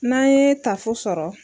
N'an ye tafo sɔrɔ